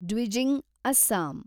Dwijing , Assam